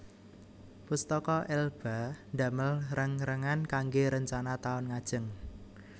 Pustaka Elba ndamel reng rengan kangge rencana taun ngajeng